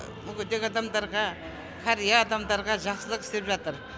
мүгедек адамдарға қария адамдарға жақсылық істеп жатыр